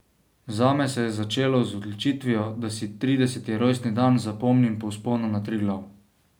Zame se je začelo z odločitvijo, da si trideseti rojstni dan zapomnim po vzponu na Triglav.